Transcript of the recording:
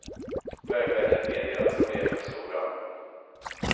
Vägverket medger att problemen är stora.